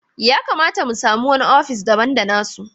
Ya kamata mu sami wani ofishi daban da na su.